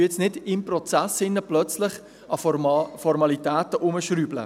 Wir schrauben jetzt nicht im Prozess plötzlich an Formalitäten herum.